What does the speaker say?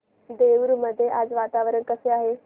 देऊर मध्ये आज वातावरण कसे आहे